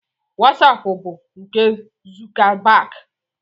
Wosapu bụ nke Zukabag.